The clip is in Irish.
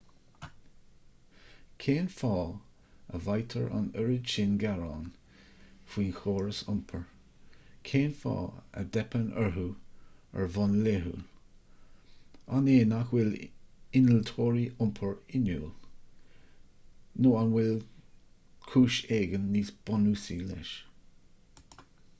cén fáth a bhfaightear an oiread sin gearán faoi chórais iompair cén fáth a dteipeann orthu ar bhonn laethúil an é nach bhfuil innealtóirí iompair inniúil nó an bhfuil cúis éigin níos bunúsaí leis